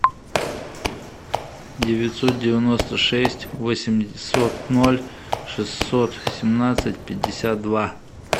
девятьсот девяносто шесть восемьсот ноль шестьсот семнадцать пятьдесят два